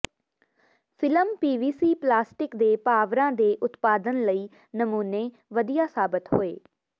film PVC plastic ਦੇ ਪਾਵਰਾਂ ਦੇ ਉਤਪਾਦਨ ਲਈ ਨਮੂਨੇ ਵਧੀਆ ਸਾਬਤ ਹੋਏ